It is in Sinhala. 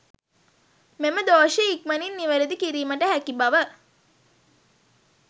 මෙම දෝෂය ඉක්මනින් නිවැරදි කිරීමට හැකි බව